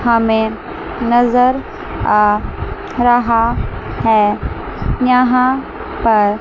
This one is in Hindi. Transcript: हमें नजर आ रहा है यहां पर--